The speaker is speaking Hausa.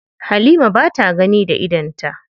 Halima ba ta gani da idonta.